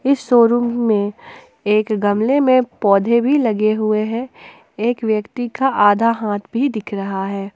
इस शोरूम में एक गमले में पौधे भी लगे हुए हैं एक व्यक्ति का आधा हाथ भी दिख रहा है।